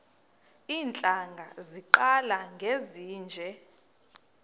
iintlanga zaqala ngezinje